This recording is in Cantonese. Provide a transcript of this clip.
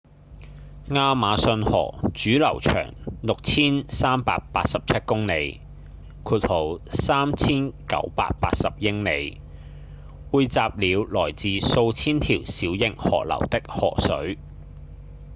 亞馬遜河主流長 6,387 公里 3,980 英里匯集了來自數千條小型河流的河水